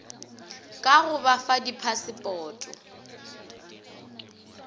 ka go ba fa diphasepote